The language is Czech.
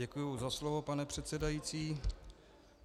Děkuji za slovo, pane předsedající.